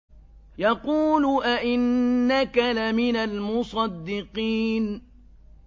يَقُولُ أَإِنَّكَ لَمِنَ الْمُصَدِّقِينَ